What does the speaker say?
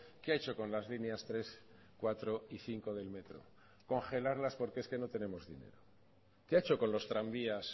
qué ha hecho con las líneas tres cuatro y cinco del metro congelarlas porque es que no tenemos dinero qué ha hecho con los tranvías